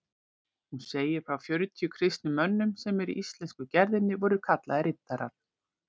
Hún segir frá fjörutíu kristnum mönnum sem í íslensku gerðinni voru kallaðir riddarar.